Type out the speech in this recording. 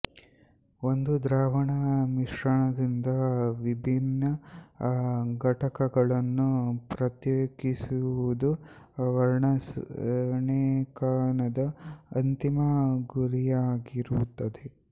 ಒಂದು ದ್ರಾವಣ ಮಿಶ್ರಣದಿಂದ ವಿಭಿನ್ನ ಘಟಕಗಳನ್ನು ಪ್ರತ್ಯೇಕಿಸುವುದು ವರ್ಣರೇಖನದ ಅಂತಿಮ ಗುರಿಯಾಗಿರುತ್ತದೆ